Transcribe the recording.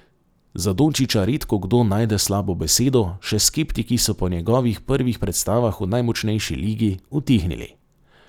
Za Dončića redkokdo najde slabo besedo, še skeptiki so po njegovih prvih predstavah v najmočnejši ligi utihnili.